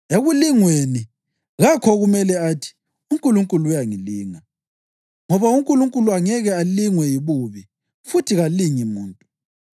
Ekulingweni, kakho okumele athi, “UNkulunkulu uyangilinga.” Ngoba uNkulunkulu angeke alingwe yibubi, futhi kalingi muntu;